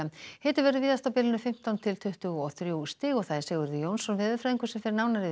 hiti verður víðast á bilinu fimmtán til tuttugu og þrjú stig Sigurður Jónsson veðurfræðingur fer nánar yfir